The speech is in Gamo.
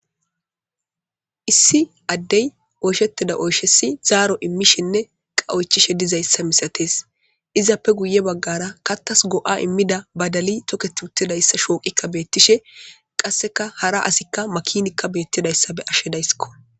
Issi Adey oyshetida oyshasi zaro immishene oyshetishe dezaysa misates izappe guye bagara kathas go'a imiza badaliy toketi uttidaysa shoqiyika betishe qaseka hara asika makinika betidaysa beyashe dayisko